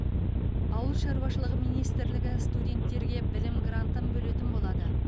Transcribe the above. ауыл шаруашылығы министрлігі студенттерге білім грантын бөлетін болады